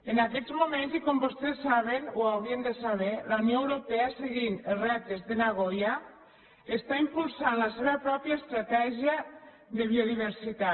en aquests moments i com vostès saben o haurien de saber la unió europea seguint les ràtios de nagoya impulsa la seva pròpia estratègia de biodiversitat